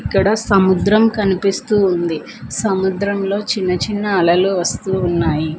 ఇక్కడ సముద్రం కనిపిస్తూ ఉంది సముద్రంలో చిన్న చిన్న అలలు వస్తూ ఉన్నాయి.